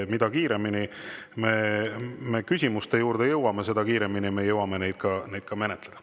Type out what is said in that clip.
Mida kiiremini me põhiküsimuste juurde jõuame, seda kiiremini me jõuame neid ka menetleda.